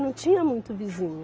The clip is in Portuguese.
Não tinha muito vizinho.